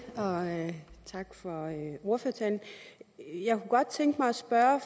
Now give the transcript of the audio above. og tak for ordførertalen jeg kunne godt tænke mig at spørge